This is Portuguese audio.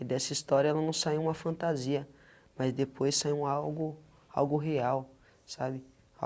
E dessa história ela não saiu uma fantasia, mas depois saiu um algo algo real, sabe?